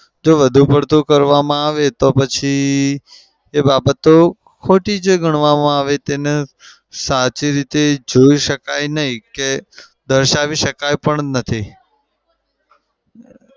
જો વધુ પડતું કરવામાં આવે તો પછી એ બાબતો ખોટી જ ગણવામાં આવે. તેને સાચી રીતે જોઈ શકાય નહિ કે દર્શાવી શકાય પણ નથી.